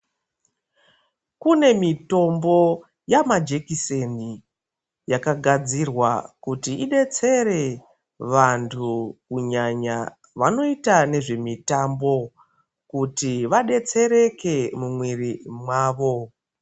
Kune mitombo namajekiseni yakagadzirwa kuti idetsere vantu kunyanya vanoita ngezve mutambo kuti vadetsereke muviri mwavo.